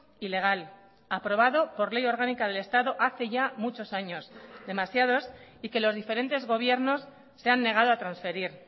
y legal aprobado por ley orgánica del estado hace ya muchos años demasiados y que los diferentes gobiernos se han negado a transferir